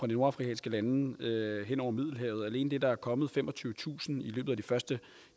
nordafrikanske lande hen over middelhavet alene det at der er kommet femogtyvetusind i løbet af de første